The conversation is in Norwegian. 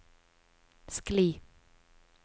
skli